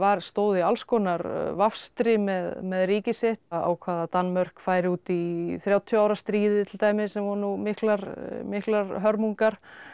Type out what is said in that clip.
stóð í alls konar vafstri með með ríki sitt ákvað að Danmörk færi út í þrjátíu ára stríðið til dæmis sem voru nú miklar miklar hörmungar